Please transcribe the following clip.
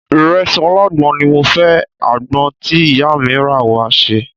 Ìrẹsì alágbọ̀n ni mo fi àgbọn tí ìyá mi rà wá ṣe.